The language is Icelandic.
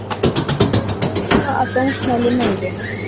Telur áhættuna af dómsmáli meiri